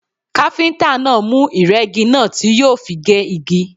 Káfíntà náà mú ìrẹ́gi náà tí yóò fi gé igi.